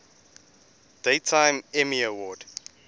daytime emmy award